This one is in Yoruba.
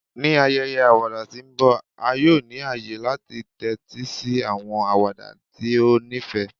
Ni ayẹyẹ awada ti nbọ, a yoo ni aye lati tẹtisi awọn awada ti o nifẹ